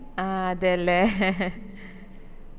ആഹ് അതെയല്ലേ